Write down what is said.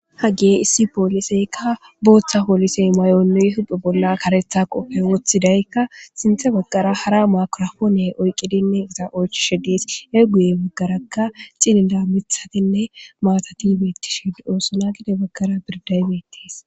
hage issi pooliseykka booththa poolisey may7onnuy huphe bolla karetha qofey woththidaykka sinthe baggara hara makrafoone oyqqidinne iza oychishe diis e guye baggarakka cilila mithatinne maatati bettishid oosona gide baggara birdaybetees